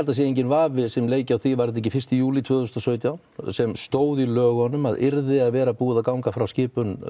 það sé enginn vafi sem leiki á því var þetta ekki fyrsta júlí tvö þúsund og sautján sem stóð í lögunum að yrði að vera búið að ganga frá skipun